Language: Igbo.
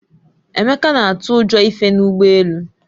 Emeka na-atụ ụjọ ife n'ụgbọ elu